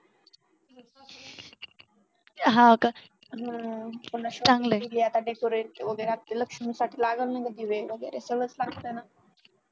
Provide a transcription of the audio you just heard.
हम्म हे आता डेकोरेट वगैरे लक्ष्मीसाठी लागल ना ग दिवे म्हणजे हे सगळं लागत ना.